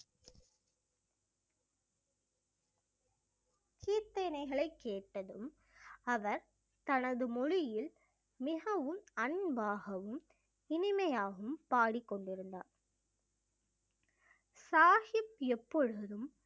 கீர்த்தனைகளை கேட்டதும் அவர் தனது மொழியில் மிகவும் அன்பாகவும் இனிமையாகவும் பாடிக்கொண்டிருந்தார் சாஹிப் எப்பொழுதும்